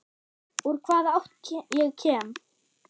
Úr hvaða átt ég kem.